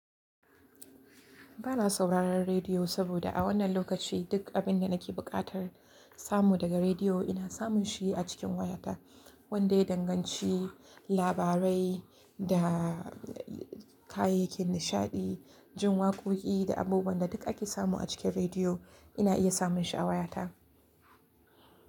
Bana sauraron rediyo saboda a wannan lokaci duk abin da nake buƙatar samu daga rediyo ina samun shi a cikin wayata. Wanda ya danganci, labarai da kayayyakin nishaɗi, jin waƙoƙi da abubuwan da duk ake samu a cikin rediyo ina iya samun shi a wayata.